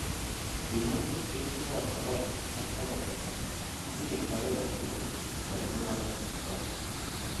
Kimwa hotelishek ab Sarova ak.panafric kole tinye kipagenge tugul kwai mungaret akenge.